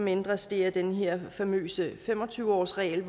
ændres er den her famøse fem og tyve årsregel